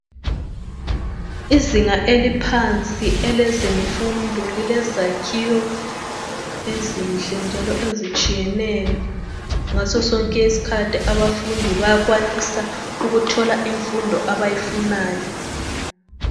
Izinga eliphansi elezemfundo, lile zakhiwo ezinhle njalp ezitshiyeneyo. Ngaso sonke isikhathi abafundi bayakwanisa ukuthola imfundo abayifunayo.